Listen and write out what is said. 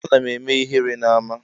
Eeh ana eme ihere na ama.